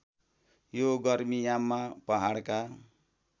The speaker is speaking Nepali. यो गर्मीयाममा पहाडका